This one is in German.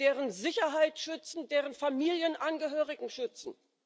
deren Sicherheit schützen, deren Familienangehörige schützen.